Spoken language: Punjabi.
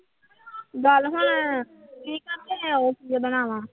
ਗੱਲ ਹਾਂ